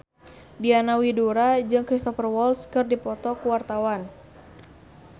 Diana Widoera jeung Cristhoper Waltz keur dipoto ku wartawan